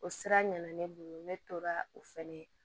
O sira ɲana ne bolo ne tora o fɛnɛ na